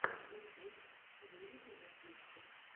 ютюб выведи мне фьюче